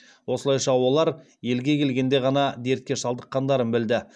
осылайша олар елге келгенде ғана дертке шалдыққандарын білді